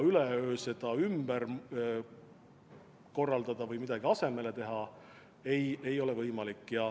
Üleöö ümber korraldada või midagi asemele teha ei ole võimalik.